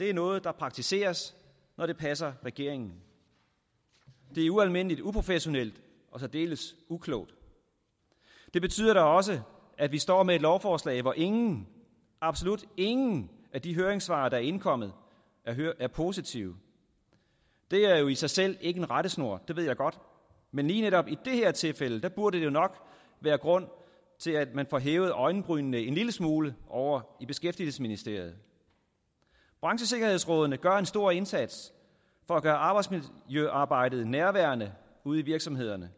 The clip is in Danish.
er noget der praktiseres når det passer regeringen det er ualmindelig uprofessionelt og særdeles uklogt det betyder da også at vi står med et lovforslag hvor ingen absolut ingen af de høringssvar der er indkommet er positive det er jo i sig selv ikke en rettesnor det ved jeg godt men lige netop i det her tilfælde burde det nok være grund til at man hæver øjenbrynene en lille smule ovre i beskæftigelsesministeriet branchesikkerhedsrådene gør en stor indsats for at gøre arbejdsmiljøarbejdet nærværende ude i virksomhederne